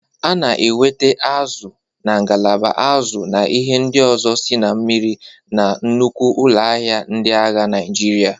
A na-enweta azụ na ngalaba azụ ndụ na ihe ndị ọzọ sị na mmịrị na nnukwu ụlọ ahịa ndịagha Naịjịrịa.